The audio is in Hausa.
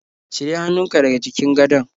Cire hannunka daga jikin gadon.